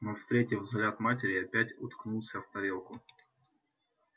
но встретив взгляд матери опять уткнулся в тарелку